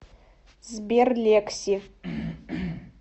сбер лекси